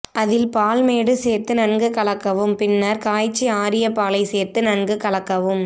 அதில் பால்மேடு சேர்த்து நன்கு கலக்கவும் பின்னர் காய்ச்சி ஆறிய பாலை சேர்த்து நன்கு கலக்கவும்